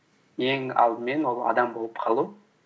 ең алдымен ол адам болып қалу